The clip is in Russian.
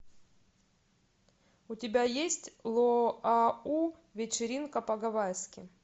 у тебя есть луау вечеринка по гавайски